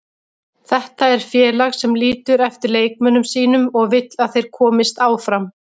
Þetta er félag sem lítur eftir leikmönnum sínum og vill að þeir komist áfram.